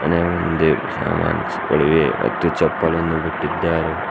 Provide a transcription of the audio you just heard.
ಮನೆಯ ಮುಂದೆ ಸಾಮಾನ್ಸ್ಗಳಿವೆ ಮತ್ತು ಚಪ್ಪಲನ್ನು ಬಿಟ್ಟಿದ್ದಾರೆ.